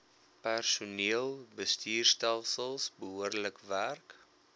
personeelbestuurstelsels behoorlik werk